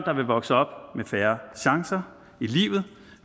der vil vokse op med færre chancer i livet